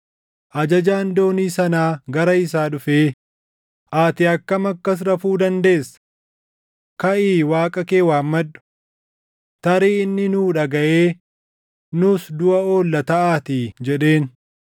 Ajajaan doonii sanaa gara isaa dhufee, “Ati akkam akkas rafuu dandeessa? Kaʼii waaqa kee waammadhu! Tarii inni nuu dhagaʼee nus duʼa oolla taʼaatii” jedheen.